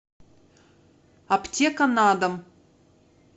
аптеканадом